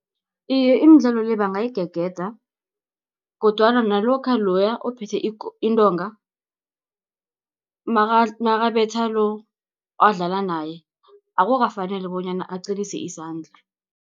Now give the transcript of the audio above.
Iye imidlalo le, bangayigegeda, kodwana nalokha loya ophethe intonga nakabetha lo, adlala naye akukafaneli bonyana aqinise izandla.